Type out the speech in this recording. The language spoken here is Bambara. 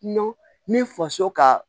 N'o min faso ka